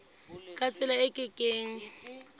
ka tsela e ke keng